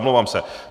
Omlouvám se.